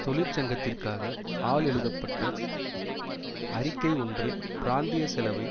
தொழிற்சங்கத்திற்காக ஆல் எழுதப்பட்ட அறிக்கை ஒன்று பிராந்திய செலவை